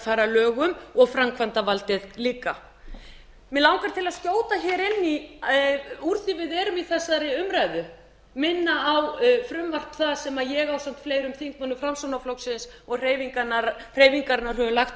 fara að lögum og framkvæmdarvaldið líka mig langar til að skjóta hér inn í úr því við erum í þessari umræðu minna á frumvarp það sem ég ásamt fleirum þingmönnum framsóknarflokksins og hreyfingarinnar höfum lagt